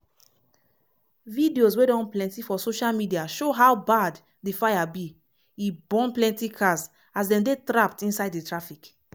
videos wey don plenty for social mediashow how bad di fire be – e burn plenty cars as dem dey trapped inside di traffic.